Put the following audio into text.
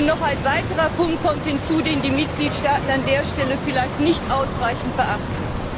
Und noch ein weiterer Punkt kommt hinzu, den die Mitgliedstaaten an dieser Stelle vielleicht nicht ausreichend beachten.